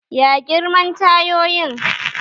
Ya girman tayoyin?